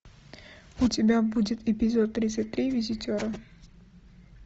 у тебя будет эпизод тридцать три визитеры